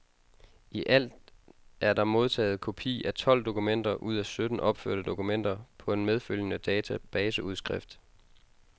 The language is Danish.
I alt er der modtaget kopi af tolv dokumenter ud af sytten opførte dokumenter på en medfølgende databaseudskrift.